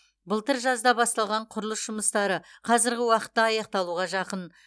былтыр жазда басталған құрылыс жұмыстары қазіргі уақытта аяқталуға жақын